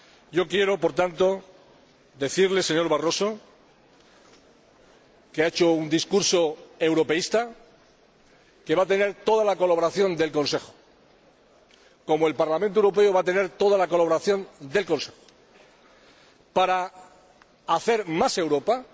Yo quiero, por tanto, decirle, señor Barroso, que ha hecho un discurso europeísta y que va a tener toda la colaboración del Consejo ─como el Parlamento Europeo va a tener toda la colaboración del Consejo─ para hacer más Europa